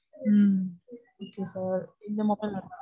உம் இப்போ sir, இந்த mobile வேணும்னா,